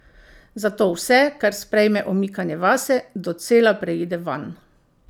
Zato vse, kar sprejme omikanje vase, docela preide vanj.